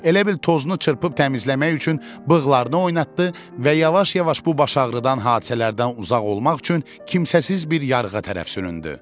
Elə bil tozunu çırpıb təmizləmək üçün bığlarını oynatdı və yavaş-yavaş bu baş ağrıdan hadisələrdən uzaq olmaq üçün kimsəsiz bir yarğıya tərəf süründü.